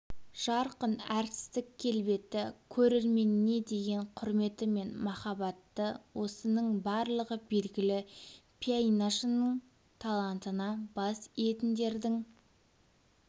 жарқын әртістік келбеті көрерменіне деген құрметі мен махаббаты осының барлығы белгілі пианиношының талантына бас иетіндердің